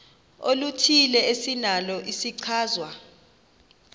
oluthile esinalo isichazwa